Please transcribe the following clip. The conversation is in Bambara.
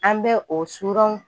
An bɛ o suranw